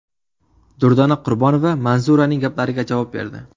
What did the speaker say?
Durdona Qurbonova Manzuraning gaplariga javob berdi .